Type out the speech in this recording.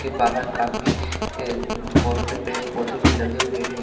बाहर काफी अ बहुत से पेड़ पौधे भी लगे हुए है।